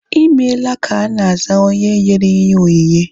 Ịmela ka ana aza onye nyere ihe onyinye